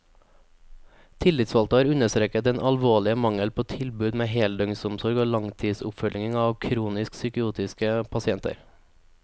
Tillitsvalgte har understreket den alvorlige mangel på tilbud med heldøgnsomsorg og langtidsoppfølging av kronisk psykotiske pasienter.